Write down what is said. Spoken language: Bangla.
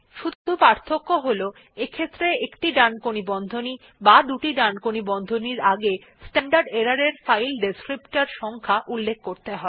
শুধু পার্থক্য হল এইক্ষেত্রে একটি ডানকোণী বন্ধনী বা দুটি ডানকোণী বন্ধনীর আগে স্ট্যান্ডার্ড এরর এর ফাইল ডেসক্রিপ্টর সংখ্যা উল্লেখ করতে হয়